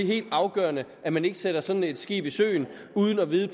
helt afgørende at man ikke sætter sådan et skib i søen uden at vide